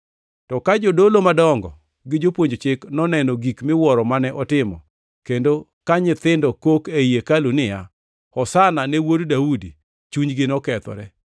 To ka jodolo madongo gi jopuonj chik noneno gik miwuoro mane otimo, kendo ka nyithindo kok ei hekalu niya, “Hosana ne Wuod Daudi,” chunygi nokethore.